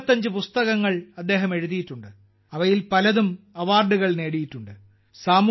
75 പുസ്തകങ്ങൾ അദ്ദേഹം എഴുതിയിട്ടുണ്ട് അവയിൽ പലതും അവാർഡുകൾ നേടിയിട്ടുണ്ട്